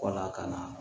Wala ka na